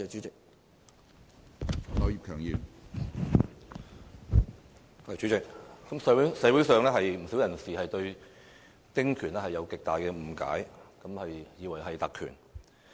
主席，社會上不少人士對丁權存有極大誤解，以為是特權。